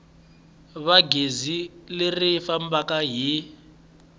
va gezi leri fambaka hi